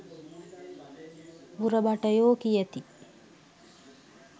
මුර භටයෝ කියති